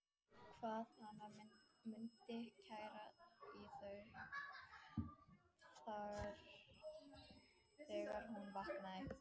Hvað hana mundi klæja í þau þegar hún vaknaði!